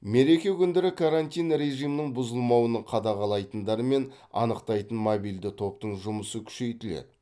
мереке күндері карантин режимінің бұзылмауын қадағалайтындар мен анықтайтын мобильді топтың жұмысы күшейтіледі